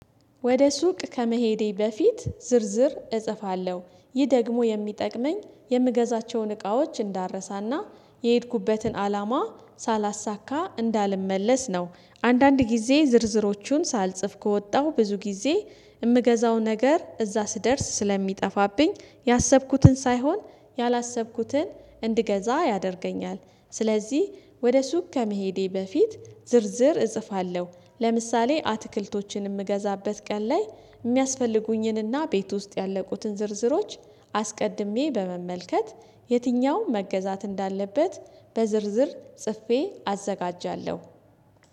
ወደ ሱቅ ከመሄዴ በፊት ዝርዝር እጽፋለሁ ይህ ደግሞ የሚጠቅመኝ የምገዛቸውን እቃዎች እንዳልረሳና የሄድኩበትን አላማ ሳላሳካ እንዳልመለስ ነው። አንዳንድ ጊዜ ዝርዝሮቹን ሳልጽፍ ከወጣሁ ብዙ ጊዜ የምገዛው ነገር እዛ ስደርስ ስለሚጠፋብኝ ያሰብኩትን ሳይሆን ያላሰብኩትን እንድገዛ ያደርገኛል። ስለዚህ ወደ ሱቅ ከመሄዴ በፊት ዝርዝር እጽፋለሁ። ለምሳሌ አትክልቶችን የምገዛበት ቀን ላይ የሚያስፈልጉኝንና ቤት ውስጥ ያለቁትን ዝርዝሮች አስቀድሜ በመመልከት የትኛው መገዛት እንዳለበት በዝርዝር ጽፌ አዘጋጃለሁ